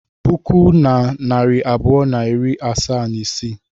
puku na narị abụọ na iri asaa na isii